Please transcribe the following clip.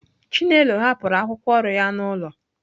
Chinelo hapụrụ akwụkwọ ọrụ ya n'ụlọ.